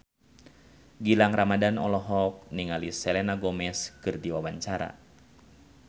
Gilang Ramadan olohok ningali Selena Gomez keur diwawancara